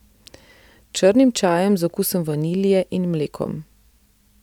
Črnim čajem z okusom vanilje in mlekom.